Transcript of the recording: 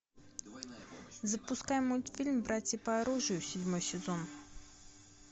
запускай мультфильм братья по оружию седьмой сезон